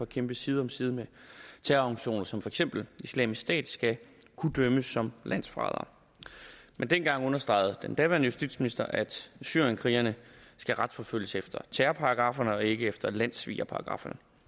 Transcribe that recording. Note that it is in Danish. kæmpe side om side med terrororganisationer som for eksempel islamisk stat skal kunne dømmes som landsforrædere men den gang understregede den daværende justitsminister at syrienskrigerne skal retsforfølges efter terrorparagrafferne og ikke efter landssvigerparagrafferne